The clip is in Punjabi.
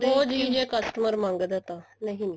ਉਹ ਚੀਜ ਜੇ customer ਮੰਗਦਾ ਤਾਂ ਨਹੀਂ ਨੀ